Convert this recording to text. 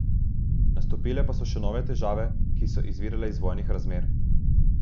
Nastopile pa so še nove težave, ki so izvirale iz vojnih razmer.